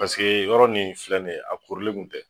Paseke yɔrɔ nin filɛ nin ye a korilen kun tɛ